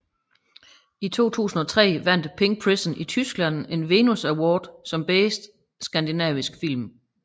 I 2003 vandt Pink Prison i Tyskland en Venus Award som Bedste Skandinaviske Film